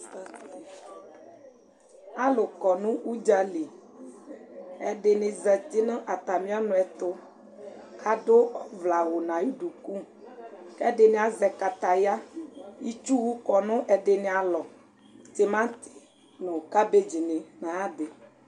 Alʋ kɔ nʋ ʋdza li: ɛdɩnɩ zati nʋ atamɩ ɔnʋɛtʋ adʋ ɔvlɛawʋ n'ayʋ duku ; k'ɛdɩnɩ azɛ kataya Itsuwʋ kɔ n'ɛdɩnɩalɔ : timatɩ nʋ kabɩtɩnɩ n'ayadɩ